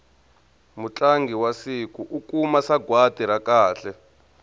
mutlangi wa siku u kuma sagwati ra kahle